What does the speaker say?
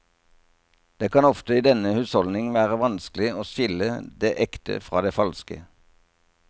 Det kan ofte i denne husholdning være vanskelig å skille det ekte fra det falske.